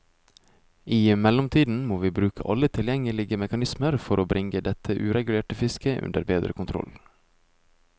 I mellomtiden må vi bruke alle tilgjengelige mekanismer for bringe dette uregulerte fisket under bedre kontroll.